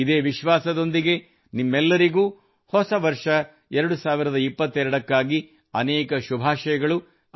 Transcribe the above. ಇದೇ ವಿಶ್ವಾಸದೊಂದಿಗೆ ನಿಮ್ಮೆಲ್ಲರಿಗೂ ಹೊಸ ವರ್ಷ 2022 ಕ್ಕಾಗಿ ಅನೇಕ ಶುಭಾಶಯಗಳು